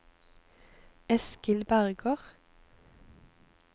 Eskil Berger